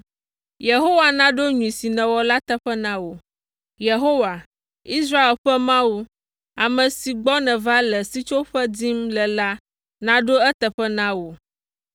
Yehowa naɖo nyui si nèwɔ la teƒe na wò. Yehowa, Israel ƒe Mawu, ame si gbɔ nèva le sitsoƒe dim le la naɖo eteƒe na wò.”